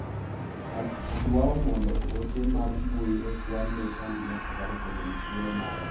Adwao mondo ote mar mbui ochwal ne kambi mar safaricom ewi thuolo mara.